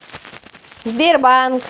сбербанк